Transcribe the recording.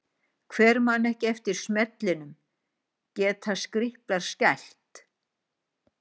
Hver man ekki eftir smellinum Geta Skríplar skælt?